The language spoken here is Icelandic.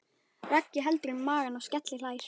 Raggi heldur um magann og skelli hlær.